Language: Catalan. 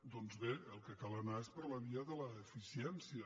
doncs bé al que cal anar és per la via de l’eficiència